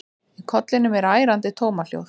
Í kollinum er ærandi tómahljóð.